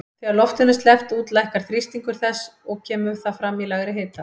Þegar loftinu er sleppt út lækkar þrýstingur þess og kemur það fram í lægri hita.